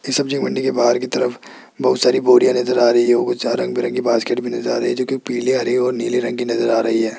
इस सब्जी मंडी के बाहर की तरफ बहुत सारी बोरियां नजर आ रही है ओ चार रंग बिरंगी बास्केट भी नजर आ रही है जो कि पीले हरी नीले रंग की नजर आ रही है।